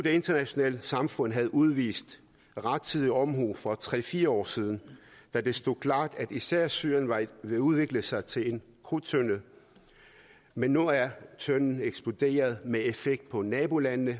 internationale samfund burde have udvist rettidig omhu for tre fire år siden da det stod klart at især syrien var ved at udvikle sig til en krudttønde men nu er tønden eksploderet med effekt på nabolandene